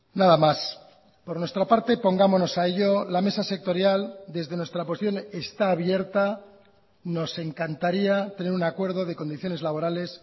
nada más por nuestra parte pongámonos a ello la mesa sectorial desde nuestra posición está abierta nos encantaría tener un acuerdo de condiciones laborales